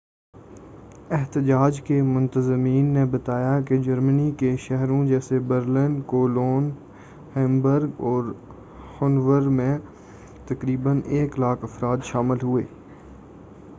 احتجاج کے منتظمین نے بتایا کہ جرمنی کے شہروں جیسے برلن کولون ہیمبرگ اور ہنوور میں تقریبا 100,000 افراد شامل ہوئے